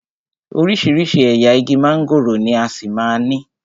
Oríṣiríṣi ẹ̀yà igi mángòrò ni a ṣì máa ní.